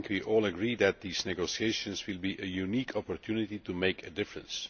I think we all agree that these negotiations will be a unique opportunity to make a difference.